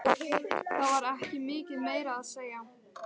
Það var ekki mikið meira að segja.